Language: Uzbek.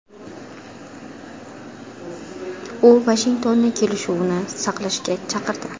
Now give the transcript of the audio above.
U Vashingtonni kelishuvni saqlashga chaqirdi.